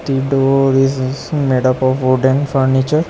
The door is is made up of wooden furniture.